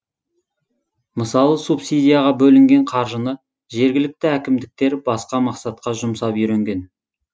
мысалы субсидияға бөлінген қаржыны жергілікті әкімдіктер басқа мақсатқа жұмсап үйренген